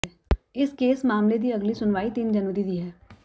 ਇਸ ਕੇਸ ਮਾਮਲੇ ਦੀ ਅਗਲੀ ਸੁਣਵਾਈ ਤਿੰਨ ਜਨਵਰੀ ਦੀ ਹੈ